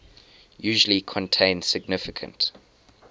usually contain significant